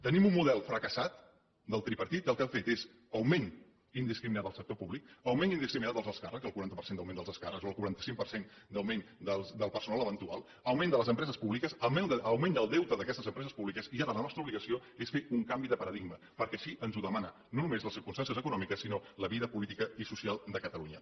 tenim un model fracassat del tripartit que el que ha fet és augment indiscriminat del sector públic augment indiscriminat dels alts càrrecs el quaranta per cent d’augment dels alts càrrecs o el quaranta cinc per cent d’augment del personal eventual augment de les empreses públiques augment del deute d’aquestes empreses públiques i ara la nostra obligació és fer un canvi de paradigma perquè així ens ho demanen no només les circumstàncies econòmiques sinó la vida política i social de catalunya